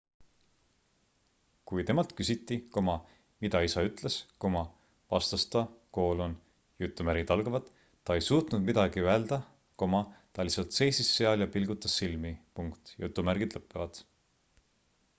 kui temalt küsiti mida isa ütles vastas ta ta ei suutnud midagi öelda ta lihtsalt seisis seal ja pilgutas silmi